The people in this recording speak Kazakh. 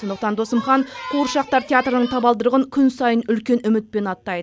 сондықтан досымхан қуыршақтар театрының табалдырығын күн сайын үмітпен аттайды